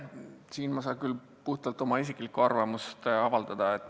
Selle kohta ma saan küll puhtalt oma isiklikku arvamust avaldada.